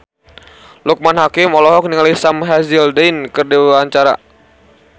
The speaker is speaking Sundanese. Loekman Hakim olohok ningali Sam Hazeldine keur diwawancara